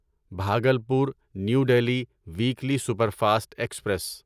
Bhagalpur new Delhi weekly superfast express